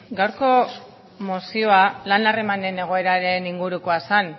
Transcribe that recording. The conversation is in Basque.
gaurko mozioa lan harremanen egoeraren ingurukoa zen